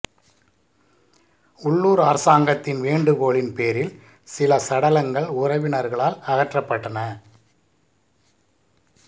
உள்ளூர் அரசாங்கத்தின் வேண்டுகோளின் பேரில் சில சடலங்கள் உறவினர்களால் அகற்றப்பட்டன